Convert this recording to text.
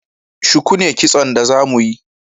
Shuku ne Kitson da za mu yi